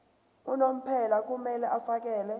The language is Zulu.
unomphela kumele afakele